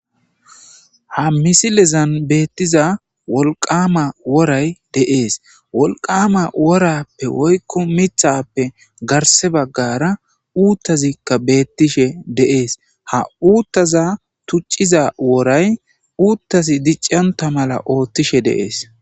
Ha misilezan beettiza wolqama woray de7es wolqama worappe woykko mithappe garse baggara uuttazikka beettishe de7es ha uuttaza tucciza woray uuttasi dicconta mala ooththishe de7es.